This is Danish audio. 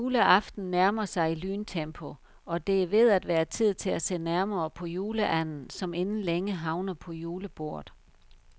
Juleaften nærmer sig i lyntempo, og det er ved at være tid til at se nærmere på juleanden, som inden længe havner på julebordet.